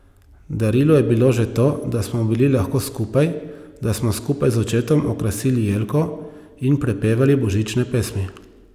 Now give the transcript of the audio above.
Darilo je bilo že to, da smo bili lahko skupaj, da smo skupaj z očetom okrasili jelko in prepevali božične pesmi.